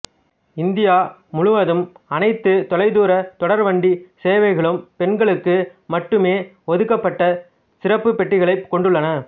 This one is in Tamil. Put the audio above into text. இந்தியா முழுவதும் அனைத்து தொலைதூர தொடர்வண்டி சேவைகளும் பெண்களுக்கு மட்டுமே ஒதுக்கப்பட்ட சிறப்பு பெட்டிகளைக் கொண்டுள்ளன